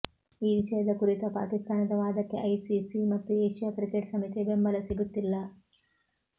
ಈ ವಿಷಯದ ಕುರಿತ ಪಾಕಿಸ್ತಾನದ ವಾದಕ್ಕೆ ಐಸಿಸಿ ಮತ್ತು ಏಷ್ಯಾ ಕ್ರಿಕೆಟ್ ಸಮಿತಿಯ ಬೆಂಬಲ ಸಿಗುತ್ತಿಲ್ಲ